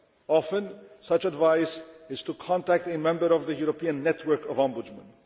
Often, such advice is to contact a member of the European network of Ombudsmen.